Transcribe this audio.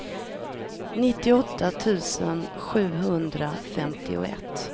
nittioåtta tusen sjuhundrafemtioett